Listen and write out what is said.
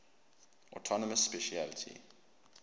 autonomous specialty